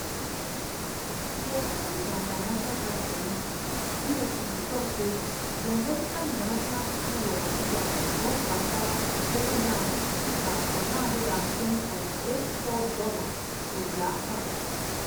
di economic and financial crimes commission (efcc) tok say di american international school of abuja don transfer $760910.84 to dia account.